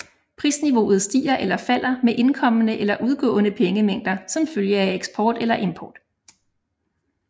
Prisniveauet stiger eller falder med indkommende eller udgående pengemængder som følge af eksport eller import